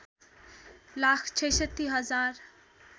लाख ६६ हजार